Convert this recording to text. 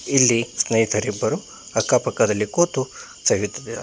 ಇಲ್ಲಿ ಸ್ನೇಹಿತರಿಬ್ಬರು ಅಕ್ಕಪಕ್ಕದಲ್ಲಿ ಕೂತು ಸವಿಯುತ್ತಿದ್ದಾರೆ.